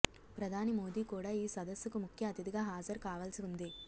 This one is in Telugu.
ప్రధాని మోదీ కూడా ఈ సదస్సుకు ముఖ్య అతిథిగా హాజరుకావాల్సి ఉంది